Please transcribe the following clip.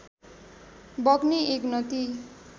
बग्ने एक नदी